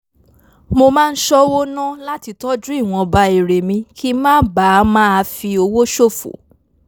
mo máa ń ṣọ́wó ná láti tọ́jú ìwọnba èrè mi kí n má bàa máa fi owó ṣòfò